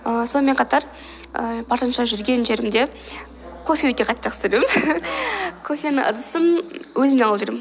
ііі сонымен қатар ііі барынша жүрген жерімде кофе өте қатты жақсы көремін кофенің ыдысын өзіммен алып жүремін